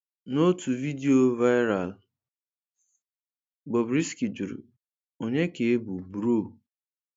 N'otu vidiyo viral, Bobrisky jụrụ, 'Ònye ka ị bụ bro?'